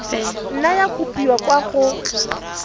nna ya kopiwa kwa go